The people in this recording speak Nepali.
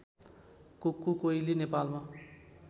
कुक्कु कोइली नेपालमा